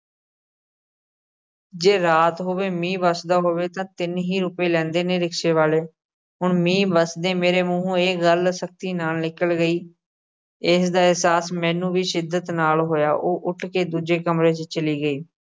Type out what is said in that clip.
ਜੇ ਰਾਤ ਹੋਵੇ ਮੀਂਹ ਵਰਦਾ ਹੋਵੇ ਤਾਂ ਤਿੰਨ ਹੀ ਰੁਪਏ ਲੈਂਦੇ ਨੇ rickshaw ਵਾਲੇ। ਹੁਣ ਮੀਂਹ ਵਰਸਦੇ ਮੇਰੇ ਮੂਹੋਂ ਇਹ ਗੱਲ ਸਖਤੀ ਨਾਲ ਨਿਕਲ ਗਈ। ਇਸਦਾ ਅਹਿਸਾਸ ਮੈਨੂੰ ਵੀ ਸ਼ਿੱਦਤ ਨਾਲ ਹੋਇਆ। ਉਹ ਉੱਠ ਕੇ ਦੂਜੇ ਕਮਰੇ 'ਚ ਚਲੀ ਗਈ।